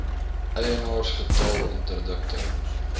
eienaars getal interdikte